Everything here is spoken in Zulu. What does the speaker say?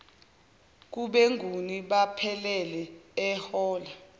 kubenguni bephelele ehola